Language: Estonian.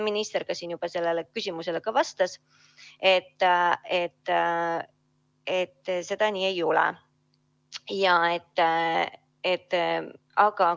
Minister ütles nagu ka siin sellele küsimusele vastates, et nii see ei ole.